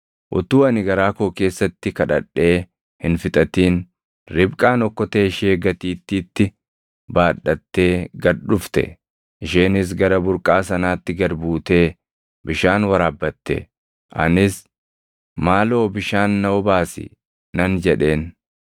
“Utuu ani garaa koo keessatti kadhadhee hin fixatin Ribqaan okkotee ishee gatiittiitti baadhattee gad dhufte. Isheenis gara burqaa sanaatti gad buutee bishaan waraabbatte; anis, ‘Maaloo bishaan na obaasi’ nan jedheen.